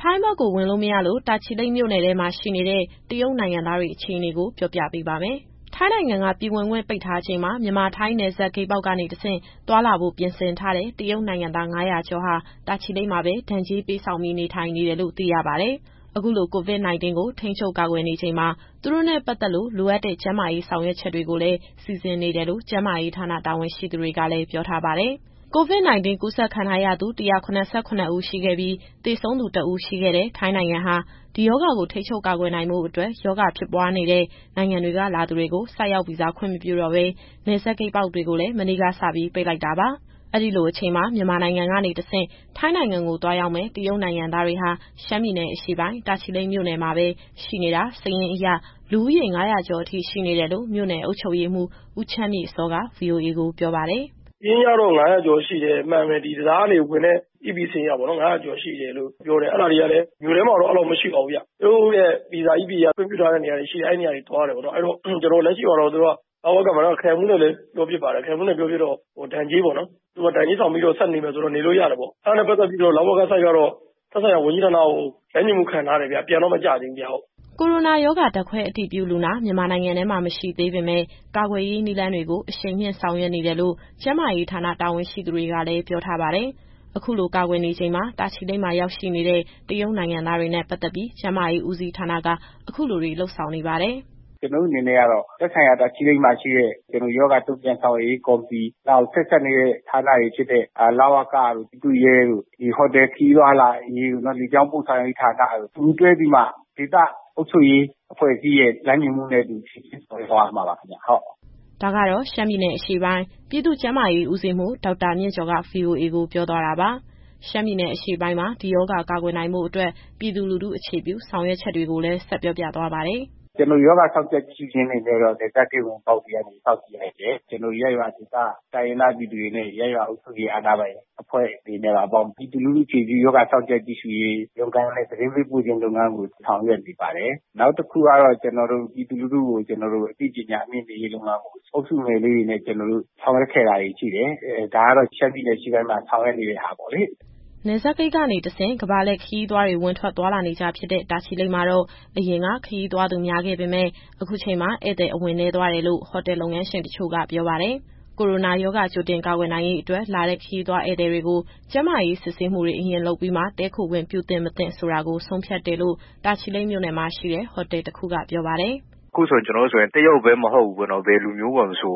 ထိုင်းဘက်ကို ဝင်မရလို့ တာချီလိတ်မြို့နယ်ထဲမှာ ရှိနေတဲ့ တရုတ်နိုင်ငံသားတွေရဲ့ အခြေအနေကို ပြေပြပေးပါမယ်။ ထိုင်းနိုင်ငံက ပြည်ဝင်ခွင့်ပိတ်ထားချိန်မှာ မြန်မာ-ထိုင်း နယ်စပ်ဂိတ်ပေါက်ကနေ သွားလာဖို့ပြင်ဆင်ထားတဲ့ တရုတ်နိုင်ငံသား ၅၀၀ ကျော်ဟာ တာချီလိတ်မှာပဲ ဒဏ်ကြေးပေးဆောင်ပြီး နေထိုင်နေတယ်လို့ သိရပါတယ်။ အခုလို COVID-19 ကို ထိန်းချုပ်ကာကွယ်နေချိန်မှာ သူတို့နဲ့ပတ်သက်လို့ လိုအပ်တဲ့ကျန်းမာရေး ဆောင်ရွက်ချက်တွေကိုလည်း စီစဉ်နေတယ်လို့ ကျန်းမာရေးဌာန တာဝန်ရှိသူကလည်း ပြောထားပါတယ်။ COVID-19 ကူးစက်ခံထားရသူ ၁၇၇ ဦး ရှိခဲ့ပြီး သေဆုံးသူ တဦးရှိခဲ့တဲ့ ထိုင်းနိုင်ငံဟာ ဒီရောဂါကိုထိန်းချုပ်ကာကွယ်နိုင်ဖို့အတွက် ရောဂါဖြစ်ပွားနေတဲ့ နိုင်ငံတွေက လာသူတွေကို ဆိုက်ရောက်ဗီဇာ ခွင့်မပြုတော့ဘဲ နယ်စပ်ဂိတ်ပေါက်တွေကိုလည်း မနေ့ကစပြီး ပိတ်လိုက်တာပါ။ အဲဒီလိုအချိန်မှာ မြန်မာနိုင်ငံကနေတဆင့် ထိုင်းနိုင်ငံကို သွားရောက်မယ့် တရုတ်ခရီးသွားတွေဟာ ရှမ်းပြည်နယ်အရှေ့ပိုင်း၊ တာချီလိတ်မြို့နယ်မှာပဲ ရှိနေတာ စာရင်းအရ လူဦးရေ ၅၀၀ ကျော်အထိ ရှိနေတယ်လို့ မြို့နယ်အုပ်ချုပ်ရေးမှူး ဦးချမ်းမြေ့စောက ဗွီအိုအေကို ပြောပါတယ်။ “စာရင်းအရတော့ ၅၀၀ ကျော်ရှိတယ်။ အမှန်တကယ် ဒီတံတား ကနေဝင်တဲ့ EP စာရင်းအရပေါ့နော် ၅၀၀ ကျော်ရှိတယ်လို့ ပြောတယ်။ အဲဒါတွေကလည်း မြို့ထဲမှာတော့ အဲလောက်မရှိပါဘူးဗျ။ သူတို့ရဲ့ ဗီဇာ EP အရ ခွင့်ပြုထားတဲ့နေရာတွေရှိတယ်။ အဲဒီနေရာတွေသွားတယ်ပေါ့နော်။ အဲတော့လက်ရှိမှာတော့ သူတို့က လဝကမှာ ခရိုင်မှူးနဲ့လည်း ပြောဖြစ်ပါတယ်။ ခရိုင်မှူးနဲ့ပြောဖြစ်တော့ ဒဏ်ကြေးပေါ့နော်။ သူတို့က ဒဏ်ကြေးဆောင်ပြီးတော့ ဆက်နေမယ်ဆိုရင်တော့ နေလို့ရတယ်ပေါ့။ အဲဒါနဲ့ ပတ်သက်ပြီးတော့ လဝကဘက်ကတော့ သက်ဆိုင်ရာဝန်ကြီးဌာနကို လမ်းညွှန်မှုခံထားတယ်ဗျ။ ပြန်တော့ မကျသေးဘူးဗျ။” ကိုရိုနာရောဂါ ဓာတ်ခွဲအတည်ပြုလူနာ မြန်မာနိုင်ငံထဲမှာ မရှိသေးပေမဲ့ ကာကွယ်ရေးနည်းလမ်းတွေကို အရှိန်မြှင့်ဆောင်ရွက်နေတယ်လို့ ကျန်းမာရေးဌာန တာဝန်ရှိသူတွေကလည်း ပြောထားပါတယ်။ အခုလို ကာကွယ်နေချိန်မှာ တာချီလိတ်မှာရောက်ရှိနေတဲ့ တရုတ်နိုင်ငံသားတွေနဲ့ ပတ်သက်ပြီး ကျန်းမာရေးဦးစီးဌာနက အခုလိုတွေ လုပ်ဆောင်နေပါတယ်။ “ကျနောတို့အနေနဲ့ကတော့ သက်ဆိုင်ရာ တာချီလိတ်မှာရှိတဲ့ ရောဂါတုံ့ပြန်ဆောင်ရွက်ရေး ကော်မတီ၊ နောက် ဆက်စပ်နေတဲ့ ဌာနတွေဖြစ်တဲ့ လဝကတို့ ပြည်သူ့ရဲတို့ ဒီဟိုတယ်ခရီးသွားလာရေးတို့ နောက် လေကြောင်းပို့ဆောင်ရေးဌာနတို့ အတူတူတွဲပြီးမှ ဒေသအုပ်ချုပ်ရေး အဖွဲ့အစည်းရဲ့ လမ်းညွှန်မှုနဲ့အတူ စီစဉ်ဆောင်ရွက်သွားရမှာပါ ခင်ဗျ။” ဒါကတော့ ရှမ်းပြည်နယ်အရှေ့ပိုင်း ပြည်သူ့ကျန်းမာရေးဦးစီးမှူး ဒေါက်တာမြင့်ကျော်က ဗွီအိုအေကိုပြောသွားတာပါ။ ရှမ်းပြည်နယ်အရှေ့ပိုင်းမှာ ဒီရောဂါကာကွယ်နိုင်ဖို့အတွက် ပြည်သူလူထုအခြေပြု ဆောင်ရွက်ချက်တွေကိုလည်း ဆက်ပြောပြသွားပါတယ်။ “ကျနော်တို့ ရောဂါစောင့်ကြပ် ကြည့်ရှုခြင်းအနေနဲ့တော့ နယ်စပ်ဂိတ်ဝင်ပေါက်တွေကနေ စောင့်ကြည့်နေတယ်။ ကျနောတို့ ရပ်ရွာဒေသ တိုင်းရင်းသားပြည်သူတွေနဲ့ ရပ်ရွာအုပ်ချုပ်ရေး အာဏာပိုင်အဖွဲ့တွေနဲ့ပါ ပေါင်းပြီး ပြည်သူလူထုအခြေပြု ရောဂါစောင့်ကြပ် ကြည့်ရှုရေးလုပ်ငန်းနဲ့ သတင်းပေးပို့ခြင်း လုပ်ငန်းကို ဆောင်ရွက်နေပါတယ်။ နောက်တခုကတော့ ကျနော်တို့ ပြည်သူလူထုကို အသိပညာမြှင့်တင်ရေးလုပ်ငန်းကို အုပ်စုငယ်လေးတွေနဲ့ ဆောင်ရွက်ခဲ့တာတွေရှိတယ်။ ဒါကတော့ ရှမ်းပြည်နယ်အရှေ့ပိုင်းမှာ ဆောင်ရွက်နေတာတွေပေါ့လေ။” နယ်စပ်ဂိတ်ကနေတဆင့် ကမ္ဘာလှည့်ခရီးသွားတွေ ဝင်ထွက်သွားလာနေကျဖြစ်တဲ့ တာချီလိတ်မှာတော့ အရင်က ခရီးသွားသူများခဲ့ပေမဲ့ အခုချိန်မှာ ဧည့်သည်အဝင်နည်းသွားတယ်လို့ ဟိုတယ်လုပ်ငန်းရှင်တချို့က ဆိုပါတယ်။ ကိုရိုနာရောဂါ ကြိုတင်ကာကွယ်နိုင်ရေးအတွက် လာတဲ့ ခရီးသွားဧည့်သည်တွေကို ကျန်းမာရေးစစ်ဆေးမှုတွေ အရင်လုပ်ပြီးမှ တည်းခိုခွင့်ပြုဖို့ သင့်၊ မသင့်ဆိုတာကို ဆုံးဖြတ်တယ်လို့ တာချီလိတ်မှာရှိတဲ့ ဟိုတယ်တခုက ပြောပါတယ်။ “အခုဆို ကျနော်တို့ဆိုရင် တရုတ်ကိုပဲ မဟုတ်ဘူး။ ဘယ်လူမျိုးကိုမဆို